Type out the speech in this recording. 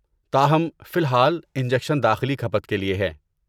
تاہم، فی الحال، انجکشن داخلی کھپت کے لئے ہیں۔